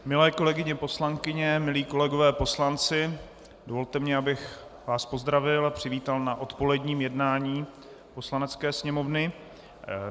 Milé kolegyně poslankyně, milí kolegové poslanci, dovolte mi, abych vás pozdravil a přivítal na odpoledním jednání Poslanecké sněmovny.